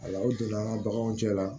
A la u donna an ka baganw cɛ la